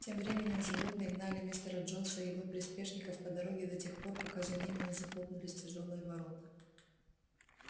тем временем животные гнали мистера джонса и его приспешников по дороге до тех пор пока за ними не захлопнулись тяжёлые ворота